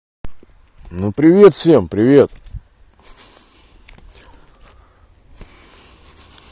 ну привет всем привет